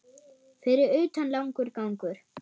Fyrir utan langur gangur.